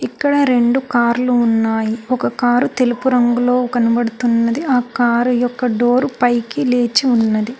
ఇక్కడ రెండు కార్లు ఉన్నాయి ఒక కారు తెలుపు రంగులో కనబడుతున్నది ఆ కారు యొక్క డోరు పైకి లేచి ఉన్నది.